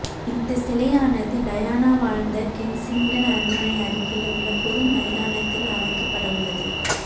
இந்த சிலையானது டயானா வாழ்ந்த கென்சிங்டன் அரண்மனை அருகில் உள்ள பொது மைதானத்தில் அமைக்கப்படவுள்ளது